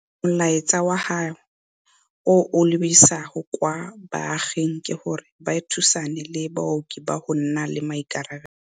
Molaetsa wa gagwe o a o lebisang kwa baaging ke gore ba thusane le baoki ka go nna le maikarabelo.